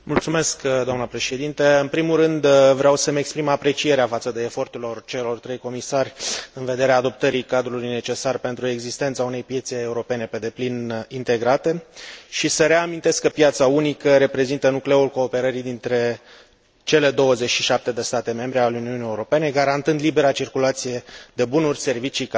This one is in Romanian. În primul rând vreau să îmi exprim aprecierea față de efortul celor trei comisari în vederea adoptării cadrului necesar pentru existența unei piețe europene pe deplin integrate și să reamintesc că piața unică reprezintă nucleul cooperării dintre cele 27 de state membre ale Uniunii Europene, garantând libera circulație de bunuri, servicii, capital și persoane.